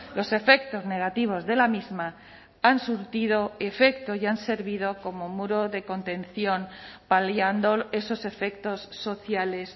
los efectos negativos de la misma han surtido efecto y han servido como muro de contención paliando esos efectos sociales